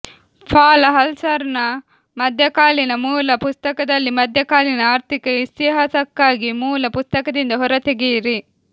ಪಾಲ್ ಹಲ್ಸಾಲ್ರ ಮಧ್ಯಕಾಲೀನ ಮೂಲ ಪುಸ್ತಕದಲ್ಲಿ ಮಧ್ಯಕಾಲೀನ ಆರ್ಥಿಕ ಇತಿಹಾಸಕ್ಕಾಗಿ ಮೂಲ ಪುಸ್ತಕದಿಂದ ಹೊರತೆಗೆಯಿರಿ